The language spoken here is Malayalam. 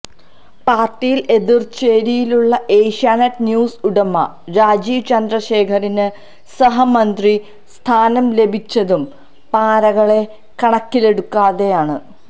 പാർട്ടിയിൽ എതിർചേരിയിലുള്ള ഏഷ്യാനെറ്റ് ന്യൂസ് ഉടമ രാജീവ് ചന്ദ്രശേഖറിന് സഹമന്ത്രി സ്ഥാനം ലഭിച്ചതും പാരകളെ കണക്കിലെടുക്കാതെയാണ്